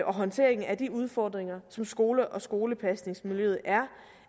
og håndteringen af de udfordringer som skolen og skolepasningsmiljøet er